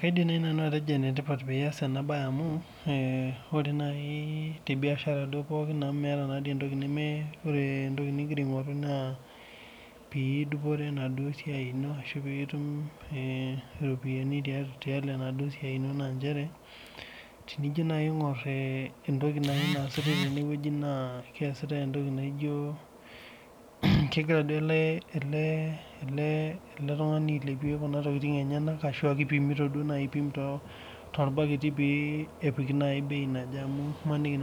Kaidim naaji nanu atejo enetipat pee eyas ena mbae ore naaji tee biashara pookin amu meeta entoki ore entoki nigira aing'oru naa pidupore ena duo siai eno arashu pidupore enaduo siai eno naa njere tenijo naaji entoki naasita tenewueji naa keesitae entoki naijio kegira ele tung'ani ailepie Kuna tokitin enyena arashu kegira aipim too irbaketi pee epiki naaji bei naaje amu emanike